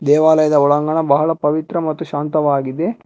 ದೇವಾಲಯದ ಒಳಾಂಗಣ ಬಹಳ ಪವಿತ್ರ ಮತ್ತು ಶಾಂತವಾಗಿದೆ.